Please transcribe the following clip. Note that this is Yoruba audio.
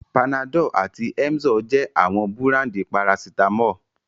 Panadol àti Emzor jẹ́ àwọn búráńdì parasítámọ̀.